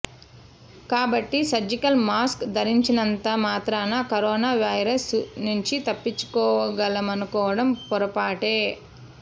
కాబట్టి surgical mask ధరించినంత మాత్రాన కరోనా వైరస్ నుంచి తప్పించుకోగలమనుకోవడం పొరపాటే